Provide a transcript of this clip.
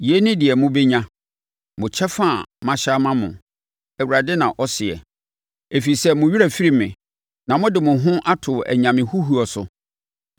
Yei ne deɛ mobɛnya, mo kyɛfa a mahyɛ ama mo,” Awurade na ɔseɛ, “ɛfiri sɛ, mo werɛ afiri me na mo de mo ho ato anyame huhuo so.